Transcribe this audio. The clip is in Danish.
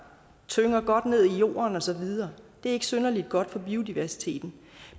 tynger godt ned i jorden og så videre det ikke synderlig godt for biodiversiteten